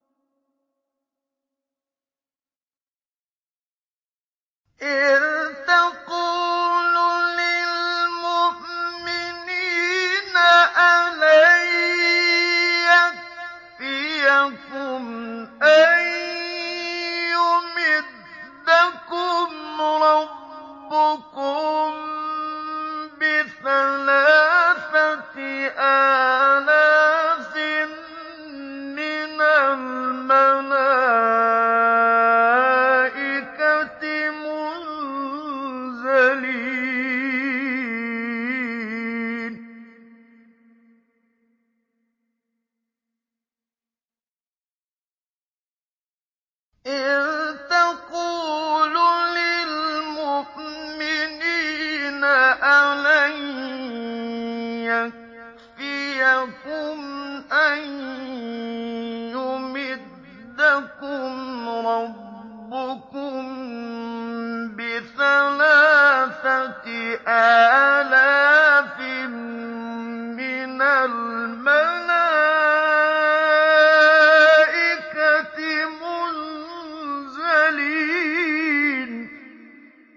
إِذْ تَقُولُ لِلْمُؤْمِنِينَ أَلَن يَكْفِيَكُمْ أَن يُمِدَّكُمْ رَبُّكُم بِثَلَاثَةِ آلَافٍ مِّنَ الْمَلَائِكَةِ مُنزَلِينَ